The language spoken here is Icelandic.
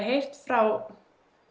heyrt frá